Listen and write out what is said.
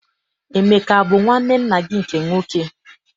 Emeka abụ nwanne nna gị nke nwoke?